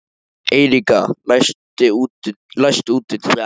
Eiríka, læstu útidyrunum.